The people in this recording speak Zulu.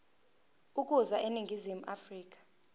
ukuza eningizimu afrika